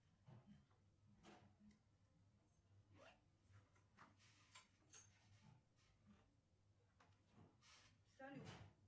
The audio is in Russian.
салют